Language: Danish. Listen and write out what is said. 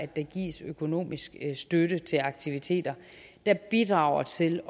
der gives økonomisk støtte til aktiviteter der bidrager til